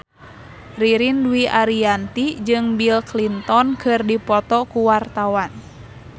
Ririn Dwi Ariyanti jeung Bill Clinton keur dipoto ku wartawan